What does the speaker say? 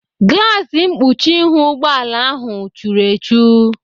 Glaasi mkpuchi ihu ụgbọala ahụ churu echu.